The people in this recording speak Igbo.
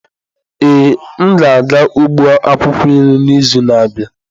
Ee, m ga-aga ugbo akwukwo nri n'izu na-abịa.